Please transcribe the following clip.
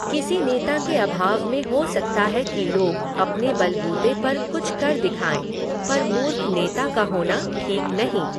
किसी नेता के अभाव में हो सकता है कि लोग अपने बल बूते पर कुछ कर दिखाएं पर मूर्ख नेता का होना ठीक नहीं।